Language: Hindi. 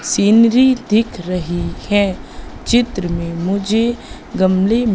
सीनरी दिख रही है चित्र में मुझे गमले--